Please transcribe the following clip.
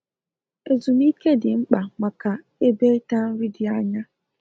Ezu m ike dị mkpa maka ebe ịta nri dị anya